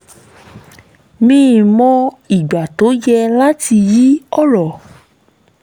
mí mọ́ ìgbà tó yẹ láti yí ọ̀rọ̀